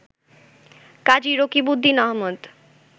Kazi Rakibuddin Ahmad